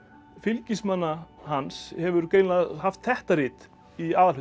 fylgismanna hans hefur greinilega haft þetta rit í aðalhlutverki